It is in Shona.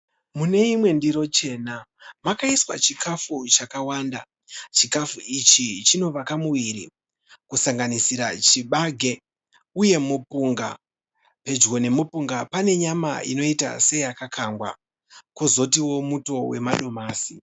Mune imwe ndiro chena makaiswa chikafu chakawanda. Chikafu ichi chinovaka muviri kusanganisira chibage uye mupunga. Pedyo nemupunga pane nyama inoita seyakakangwa kozotiwo muto wemadomasi.